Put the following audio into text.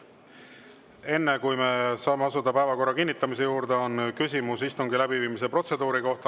Enne kui me saame asuda päevakorra kinnitamise juurde, on küsimus istungi läbiviimise protseduuri kohta.